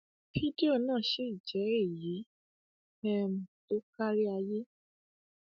fídíò náà sì jẹ èyí um tó kárí ayé